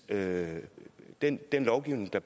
med den lovgivning der